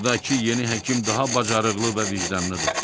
Buradakı yeni həkim daha bacarıqlı və vicdanlıdır.